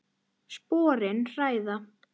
Sporin hræða.